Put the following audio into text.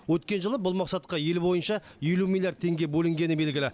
өткен жылы бұл мақсатқа ел бойынша елу миллиард теңге бөлінгені белгілі